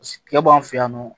K'e b'an fɛ yan nɔ